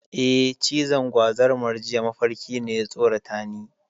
Eh, cizon gwazarmar jiya mafarki ne, ya tsoratani.